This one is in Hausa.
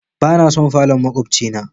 Bana son falon makwabce na.